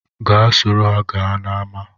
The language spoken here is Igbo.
Gaa soro ha gaa n’ama